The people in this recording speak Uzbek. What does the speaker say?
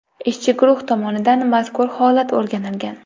Ishchi guruh tomonidan mazkur holat o‘rganilgan.